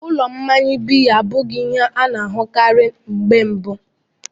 Ụlọ mmanya biya abụghị ihe a na-ahụkarị mgbe mbu.